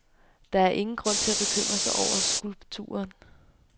Der er ingen grund til at bekymre sig over skulpturen.